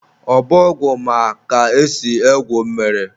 Obọgwụ ma ka esi egwu mmiri